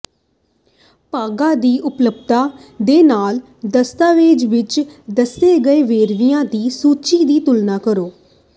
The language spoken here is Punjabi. ਭਾਗਾਂ ਦੀ ਉਪਲਬਧਤਾ ਦੇ ਨਾਲ ਦਸਤਾਵੇਜ਼ ਵਿੱਚ ਦੱਸੇ ਗਏ ਵੇਰਵਿਆਂ ਦੀ ਸੂਚੀ ਦੀ ਤੁਲਨਾ ਕਰੋ